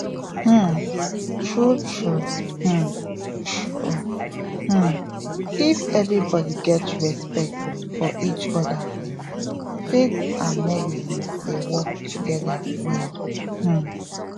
um true true um true um if everybody get respect for each other faith and medicine dey work together well um